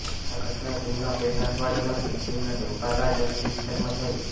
આ ઘટના જૂનના પહેલા અઠવાડિયામાં સિક્કિમના ડોકા લા જનરલ વિસ્તારમાં થઈ